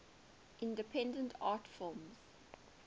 independent art films